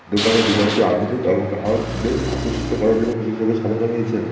দোকানের ডিজাইনটি আধুনিক ও গাহকদের আকোষিত করার জন্য বিশেষভাবে সাজানো হয়েছে।